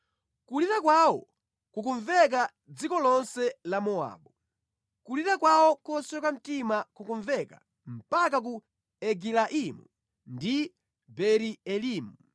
Kulira kwawo kukumveka mʼdziko lonse la Mowabu; kulira kwawo kosweka mtima kukumveka mpaka ku Egilaimu ndi Beeri-Elimu.